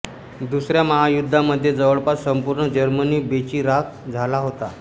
दुसऱ्या महायुद्धामध्ये जवळपास संपूर्ण जर्मनी बेचिराख झाला होता